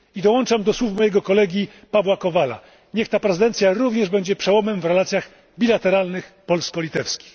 I dołączam do słów mojego kolegi Pawła Kowala niech ta prezydencja będzie również przełomem w relacjach bilateralnych polsko litewskich.